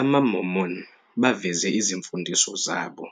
AmaMormon baveze izimfundiso zabo